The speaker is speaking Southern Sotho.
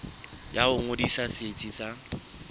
ya ho ngodisa setsi sa